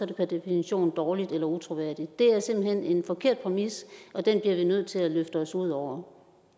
det per definition dårligt eller utroværdigt det er simpelt hen en forkert præmis og den bliver vi nødt til at løfte os ud over